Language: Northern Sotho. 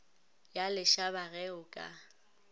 ya lešaba ge o ka